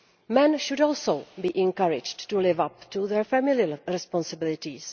Men should also be encouraged to live up to their family responsibilities.